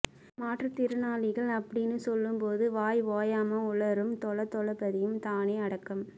மாற்றுத்திறனாளி அப்டீன்னு சொல்லும்போது வாய் ஓயாமா உளறும் தொளதொளபதியும் தானே அடக்கம்